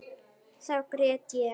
Þá grét ég.